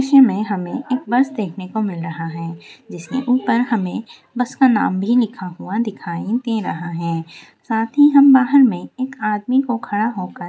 इस इमेज में हमें एक बस देखने को मिल रहा है जिसमें ऊपर हमें बस का नाम भी लिखा हुआ दिखाई दे रहा है साथ ही हम बाहर में एक आदमी को खड़ा होकर--